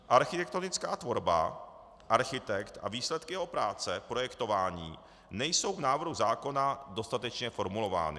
Architektonická tvorba, architekt a výsledky jeho práce, projektování nejsou v návrhu zákona dostatečně formulovány.